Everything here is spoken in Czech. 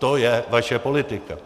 To je vaše politika.